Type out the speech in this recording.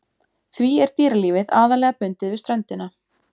Því er dýralífið aðallega bundið við ströndina.